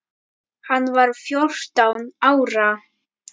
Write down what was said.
Hann var fjórtán ára.